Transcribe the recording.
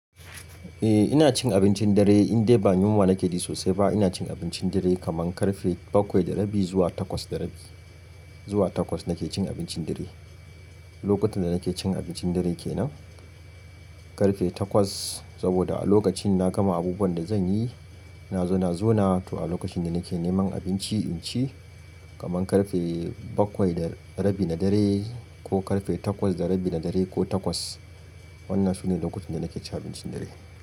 Eh ina cin abincin dare, indai ba yunwa nake ji sosai ba ina cin abincin dare kaman karfe bakwai da rabi zuwa takwas da rabi. Zuwa takwas nake cin abincin dare. Lokutan da nake cin abincin dare kenan karfe takwas saboda a lokacin na gama abubuwan da zan yi, na zo na zauna to a lokacin na nake neman abinci inci kaman karfe bakwai da rabi na dare ko karfe takwas da rabi na dare ko takwas. Wannan sune lokutan da nake cin abincin dare.